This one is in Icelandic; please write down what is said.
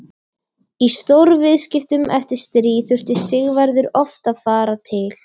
Í stórviðskiptum eftir stríð þurfti Sigvarður oft að fara til